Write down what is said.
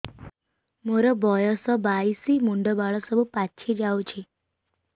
ମୋର ବୟସ ବାଇଶି ମୁଣ୍ଡ ବାଳ ସବୁ ପାଛି ଯାଉଛି